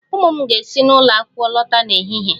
Ụmụ m ga-esi n'ụlọ akwụkwọ lọta n'ehihie